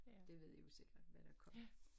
Det ved i jo sikkert hvad der kom